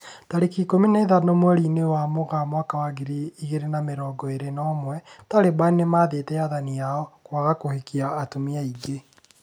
Tarĩki ikũmi na ithano mweri-inĩ wa Mũgaa mwaka wa ngiri igĩrĩ na mĩrongo ĩrĩ na ũmwe, Taliban nĩmathĩte athani ao kwaga kũhikia atumia aingĩ